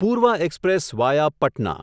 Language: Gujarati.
પૂર્વ એક્સપ્રેસ વાયા પટના